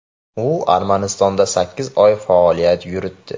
U Armanistonda sakkiz oy faoliyat yuritdi.